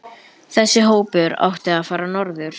Þessi hópur átti að fara norður.